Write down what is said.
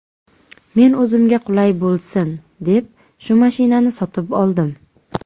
Men o‘zimga qulay bo‘lsin, deb shu mashinani sotib oldim.